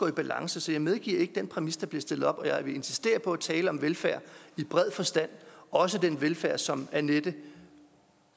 i balance så jeg medgiver ikke det den præmis der bliver stillet op siger og jeg vil insistere på at tale om velfærd i bred forstand også den velfærd som annette